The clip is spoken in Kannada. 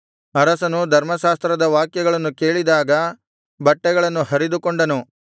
ಅರಸನು ಧರ್ಮಶಾಸ್ತ್ರದ ವಾಕ್ಯಗಳನ್ನು ಕೇಳಿದಾಗ ಬಟ್ಟೆಗಳನ್ನು ಹರಿದುಕೊಂಡನು